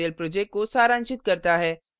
यह spoken tutorial project को सारांशित करता है